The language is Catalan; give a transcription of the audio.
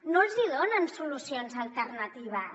no els donen solucions alternatives